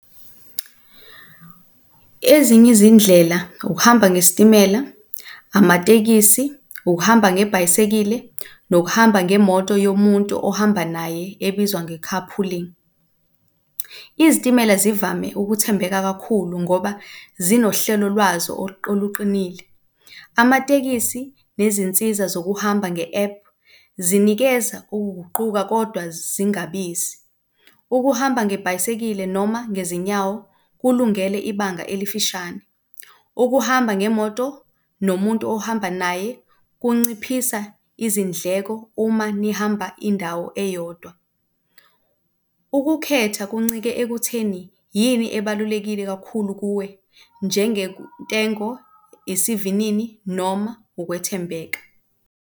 Ezinye izindlela ukuhamba ngesitimela amatekisi, ukuhamba ngebhayisikili nokuhamba ngemoto yomuntu ohamba naye ebizwa nge-carpooling. Izitimela zivame ukuthembeka kakhulu ngoba zinohlelo lwazo oluqinile. Amatekisi nezinsiza zokuhamba nge-app zinikeza ukuguquka kodwa zingabizi. Ukuhamba nebhayisikili noma ngezinyawo kulungele ibanga elifishane. Ukuhamba ngemoto nomuntu ohamba naye kunciphisa izindleko uma nihamba indawo eyodwa. Ukukhetha kuncike ekutheni yini ebalulekile kakhulu kuwe njengentengo, isivinini noma ukwethembeka.